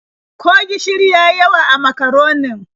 Ko gishiri ya yi yawa a makaronin?